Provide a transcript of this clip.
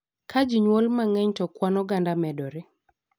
Ka ji nyuol mangeny to kwan oganda medore.